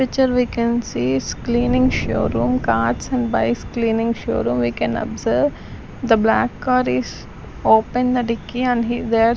picture we can see is cleaning showroom cars and bikes cleaning showroom we can observe the black car is open the dicky and he there --